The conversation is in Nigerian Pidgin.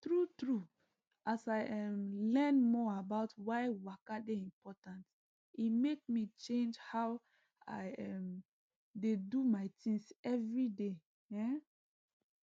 true true as i um learn more about why waka dey important e make me change how i um dey do my things everyday um